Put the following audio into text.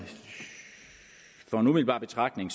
fra en umiddelbar betragtning